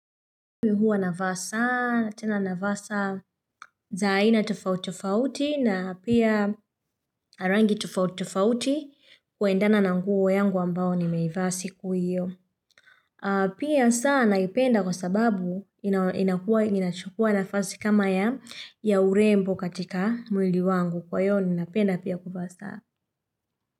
Mimi huwa navaa sana, tena navaa saa za aina tofauti tofauti na pia na rangi tofauti tofauti kuendana na nguo yangu ambayo nimeivaa siku hiyo. Pia saa naipenda kwa sababu inakuwa inachukua nafasi kama ya ya urembo katika mwili wangu kwa hiyo niinapenda pia kuvaa saa.